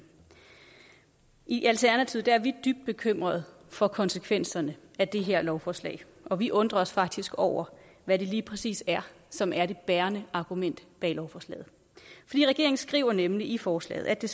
i alternativet er vi dybt bekymrede for konsekvenserne af det her lovforslag og vi undrer os faktisk over hvad det lige præcis er som er det bærende argument bag lovforslaget regeringen skriver nemlig i forslaget at det